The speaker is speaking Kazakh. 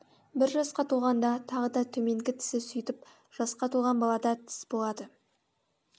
бір жасқа толғанда тағы да төменгі тісі сөйтіп жасқа толған балада тіс болады